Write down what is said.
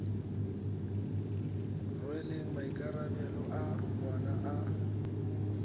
rweleng maikarabelo a ngwana a